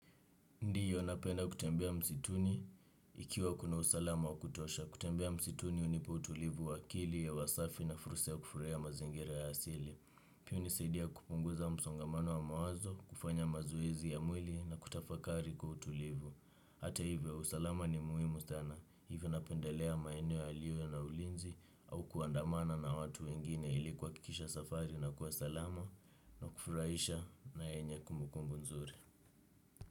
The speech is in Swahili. Ndio napenda kutembea msituni ikiwa kuna usalama wa kutosha. Kutembea msituni hunipa utulivu wa akili hewa safi na fursa ya kufurahia mazingira ya asili. Pia hunisaidia kupunguza msongamano wa mawazo, kufanya mazoezi ya mwili na kutafakari kwa utulivu. Hata hivyo, usalama ni muhimu sana. Hivyo napendelea maeneo yaliyo yana ulinzi au kuandamana na watu wengine ili kuhakikisha safari inakuwa salama na kufurahisha na yenye kumbukumbu nzuri.